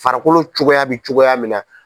Farikolo cogoya bɛ cogoya min na.